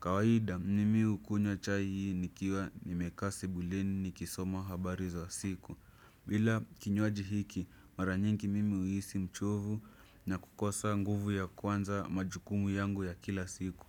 Kawaida mimi hukunywa chai hii nikiwa nimekaa sebuleni nikisoma habari za siku. Bila kinywaji hiki mara nyingi mimi huisi mchovu na kukosa nguvu ya kuanza majukumu yangu ya kila siku.